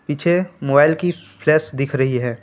पीछे मोबाइल की फ्लैश दिख रही है।